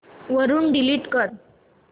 वरून डिलीट कर